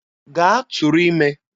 Gaa tụrụ ime!